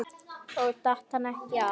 Og datt hann ekkert af?